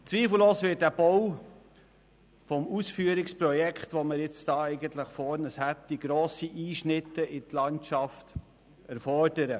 Zweifellos wird der Bau des Ausführungsprojekts, das wir jetzt eigentlich vor uns hätten, grosse Einschnitte in die Landschaft erfordern.